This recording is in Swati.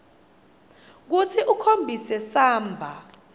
kutsi ukhombise samba